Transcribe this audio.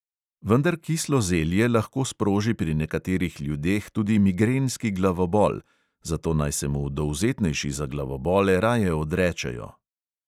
Vendar kislo zelje lahko sproži pri nekaterih ljudeh tudi migrenski glavobol, zato naj se mu dovzetnejši za glavobole raje odrečejo.